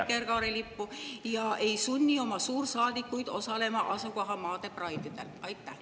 … vikerkaarelippu ega sunni oma suursaadikuid osalema asukohamaade Pride'idel?